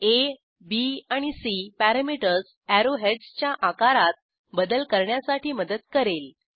आ b आणि c parameters arrow हेडसच्या आकारात बदल करण्यासाठी मदत करेल